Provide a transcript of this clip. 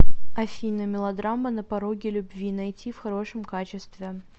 афина мелодрама на пороге любви найти в хорошем качестве